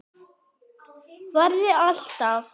Verði alltaf.